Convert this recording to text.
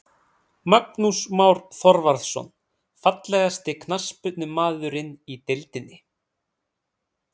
Magnús Már Þorvarðarson Fallegasti knattspyrnumaðurinn í deildinni?